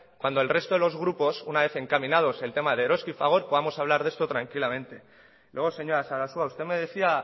cuando el resto de los grupos una vez encaminados el tema de eroski y fagor podamos hablar de esto tranquilamente luego señora sarasua usted me decía